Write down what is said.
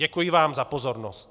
Děkuji vám za pozornost.